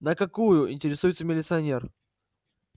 на какую интересуется милиционер